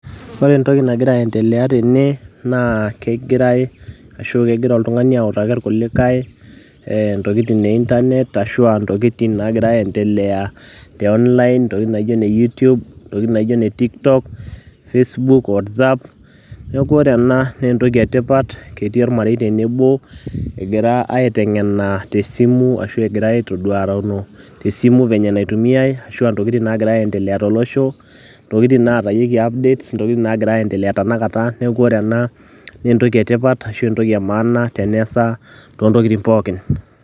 ore entoki nagira aendelea tene naa kegirae ashu kegira oltung'ani autaki irkulikae eh, intokitin e internet ashua intokitin nagiira aendelea te online intokitin naijo ine youtube ntokitin naijo ne tiktok, facebook, whatsapp neeku ore ena naa entoki etipat ketii ormarei tenebo egira aiteng'ena tesimu ashu egira aitoduarano tesimu venye enaitumiae ashu intokitin nagira aendelea tolosho intokitin natayieki [css]updates intokitin nagira aendelea tanakata neeku ore ena naa entoki etipat ashu entoki e maana teneesa tontokitin pookin.